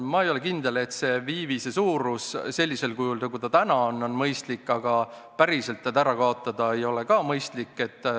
Ma ei ole kindel, et viiviste praegune suurus on mõistlik, aga päris neid ära kaotada ei ole ka mõistlik.